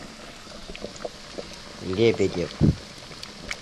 лебедев